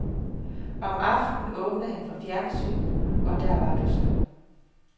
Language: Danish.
Om aftenen åbnede han for fjernsynet, og der var du så.